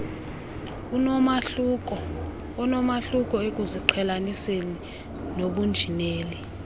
onomahluko ekuziqhelaniseni nobunjineli